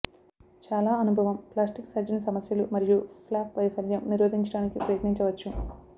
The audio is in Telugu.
చాలా అనుభవం ప్లాస్టిక్ సర్జన్ సమస్యలు మరియు ఫ్లాప్ వైఫల్యం నిరోధించడానికి ప్రయత్నించవచ్చు